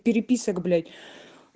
переписок блять